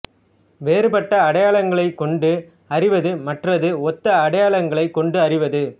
வேறுபட்ட அடையாளங்களைக் கொண்டு அறிவது மற்றது ஒத்த அடையாளங்களை கொண்டு அறிவது